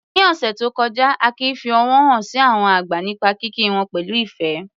Ní ọ̀sẹ̀ tó kọjá, Akin fi ọ̀wọ̀ hàn sí àwọn àgbà nípa kíkí wọn pẹ̀lú ìfẹ́.